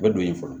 O bɛ don yen fɔlɔ